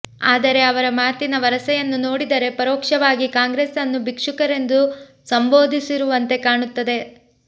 ಆದರೆ ಅವರ ಮಾತಿನ ವರಸೆಯನ್ನು ನೋಡಿದರೆ ಪರೋಕ್ಷವಾಗಿ ಕಾಂಗ್ರೆಸ್ನ್ನು ಭಿಕ್ಷುಕರೆಂದು ಸಂಭೋದಿಸಿರುವಂತೆ ಕಾಣುತ್ತದೆ